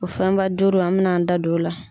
O fɛnba duuru an be n'an da don la.